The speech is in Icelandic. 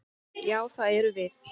Já, það erum við.